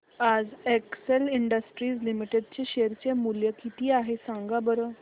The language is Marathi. आज एक्सेल इंडस्ट्रीज लिमिटेड चे शेअर चे मूल्य किती आहे सांगा बरं